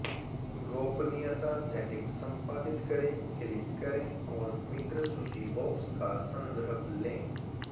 गोपनीयता सेटिंग्स संपादित करें क्लिक करें और मित्र सूची बॉक्स का संदर्भ लें